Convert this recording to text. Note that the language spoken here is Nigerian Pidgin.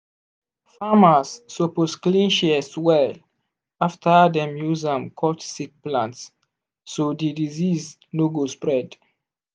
farmers suppose clean shears well after dem use am cut sick plant so di disease no go spread.